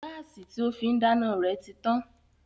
Gáàsì tí ó fín dáná rẹ̀ ti tán